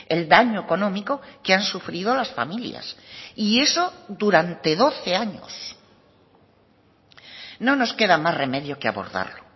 el daño económico que han sufrido las familias y eso durante doce años no nos queda más remedio que abordarlo